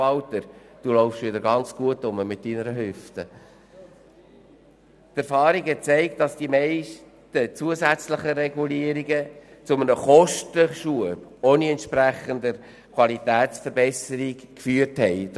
Die Erfahrung hat gezeigt, dass die meisten zusätzlichen Regulierungen zu einem Kostenschub ohne entsprechende Qualitätsverbesserung geführt haben.